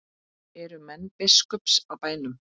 Eru menn biskups á bænum?